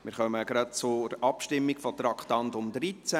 Wir kommen zur Abstimmung zum Traktandum 13;